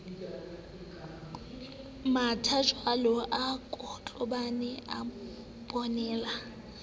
mathajwalo a kotlobane a bonela